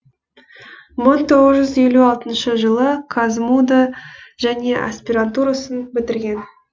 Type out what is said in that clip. мың тоғыз жүз елу алтыншы қазму ды және аспирантурасын бітірген